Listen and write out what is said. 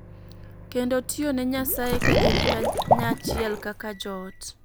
Kendo tiyo ne Nyasaye ka gin kanyachiel kaka joot.